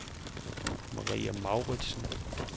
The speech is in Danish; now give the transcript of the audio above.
Maria Mouritsen